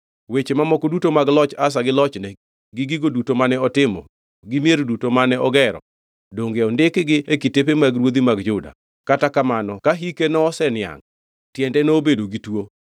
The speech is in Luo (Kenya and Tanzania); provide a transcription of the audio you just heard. Weche mamoko duto mag loch Asa, gi lochne, gi gigo duto mane otimo gi mier duto mane ogero donge ondikgi e kitepe mag ruodhi mag Juda? Kata kamano ka hike noseniangʼ tiende nobedo gituo.